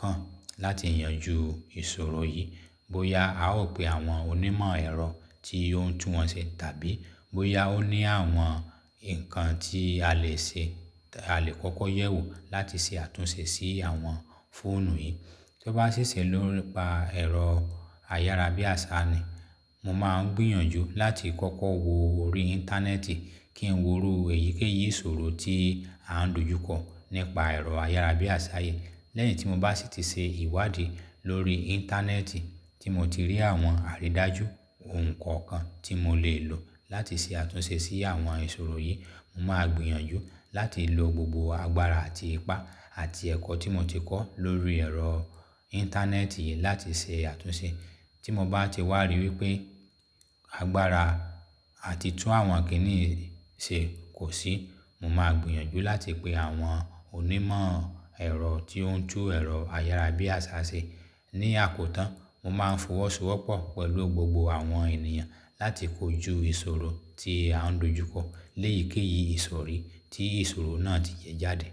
kàn láti yanjú ìṣòro yìí. Bóyá a ó pe àwọn onímọ̀ ẹ̀rọ tí ó ń tún wọ́n ṣe tàbí bóyá ó ní àwọn nǹkan tí a lè ṣe, a lè kọ́kọ́ yẹ̀wò láti ṣe àtúnṣe sí àwọn fóònù yìí. Tó bá ṣiṣẹ́ nípa ẹ̀rọ ayára bí àṣá ni, mo máa ń gbìyànjú láti kọ́kọ́ wo orí Íńtánẹ́ẹ̀tì kí n wo irú èyíkéyìí ìṣòro tí à ń dojú kọ nípa ẹ̀rọ ayára bí àṣá yìí. Lẹ́yìn tí mo bá sì ti ṣe ìwádìí lórí Íńtánẹ́ẹ̀tì tí mo ti rí àwọn àrídájú ohun kọ̀ọ̀kan tí mo lè lò láti ṣe àtúnṣe sí àwọn ìṣòro yìí, mo máa gbìyànjú láti lò gbogbo agbára àti ipá àti ẹ̀kọ́ tí mo ti kọ́ lórí ẹ̀rọ Íńtánẹ́ẹ̀tì yìí láti ṣe àtúnṣe. Tí mo bá ti wá rí wípé agbára àti tún àwọn kìnní yìí ṣe kò sí, mo máa gbìyànjú láti pe àwọn onímọ̀ ẹ̀rọ tí ó ń tún ẹ̀rọ ayára bí àṣá ṣe. Ni àkótán, mo máa ń fọwọ́ sowọ́ pọ̀ pẹ̀lú gbogbo àwọn ènìyàn láti kojú ìṣòro tí à ń dojú kọ lẹ́yìkéyìí ìsọ̀rí tí ìṣòro náà ti yẹ jáde.